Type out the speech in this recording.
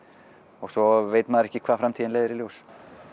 og svo veit maður ekki hvað framtíðin leiðir í ljós